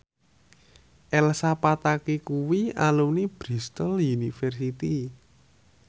Elsa Pataky kuwi alumni Bristol university